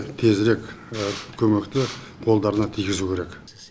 тезірек көмекті қолдарына тигізуі керек